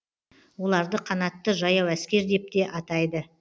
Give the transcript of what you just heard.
оларды канатты жаяу әскер деп те атайды